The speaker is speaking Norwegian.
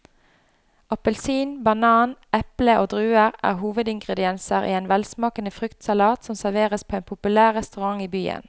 Appelsin, banan, eple og druer er hovedingredienser i en velsmakende fruktsalat som serveres på en populær restaurant i byen.